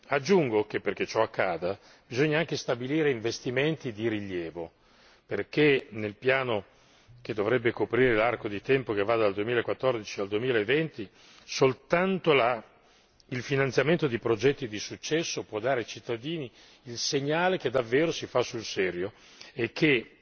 Aggiungo che, perché ciò accada, bisogna anche stabilire investimenti di rilievo, perché nel piano che dovrebbe coprire l'arco di tempo che va dal 2014 al 2020 soltanto il finanziamento di progetti di successo può dare ai cittadini il segnale che davvero si fa sul serio e che